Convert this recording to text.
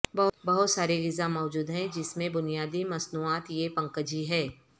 بہت سارے غذا موجود ہیں جس میں بنیادی مصنوعات یہ پکنجی ہے